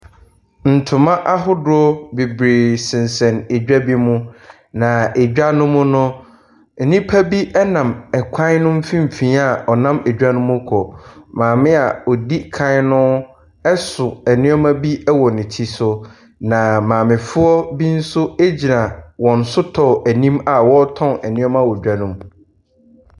Ntoma ahodoɔ bebree sensɛn edwa bi mu, n edwa no mu no, nnipa bi nam kwan no mfimfini a ɔnam edwa no mu rekɔ. Maame a ɔdi kan no so nneɛma bi wɔ ne ti so, na maamefoɔ bi nso gyina wɔn sotɔɔ anim awɔretɔn nneɛma wɔ dwa no mu.